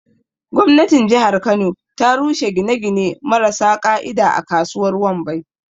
Gwamnatin jihar kano ta rushe gine-gine marasa ƙa'ida a kasuwar Wambai.